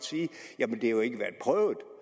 det er jo nok ikke